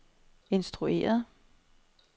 instrueret